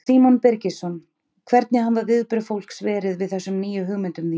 Símon Birgisson: Hvernig hafa viðbrögð fólks verið við þessum nýju hugmyndum þínum?